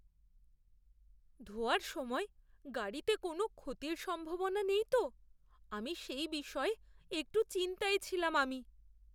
ধোয়ার সময় গাড়িতে কোনও ক্ষতির সম্ভাবনা নেই তো? আমি সেই বিষয়ে একটু চিন্তায় ছিলাম আমি।